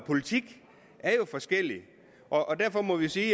politik er jo forskelligt og derfor må jeg sige